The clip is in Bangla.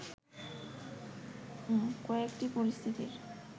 কয়েকটি পরিস্থিতির